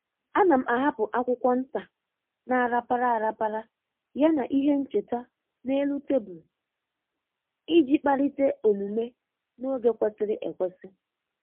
A na m ahapụ akwụkwọ nta na-arapara arapara ya na ihe ncheta n'elu tebụlụ iji kpalite omume n’oge kwesịrị ekwesị.